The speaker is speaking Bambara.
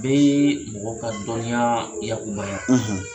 Bɛɛ yee mɔgɔ ka dɔnniyaa yakubaya